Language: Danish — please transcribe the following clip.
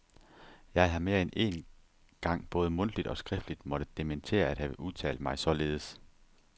Jeg har mere end én gang både mundtligt og skriftligt måtte dementere at have udtalt mig således.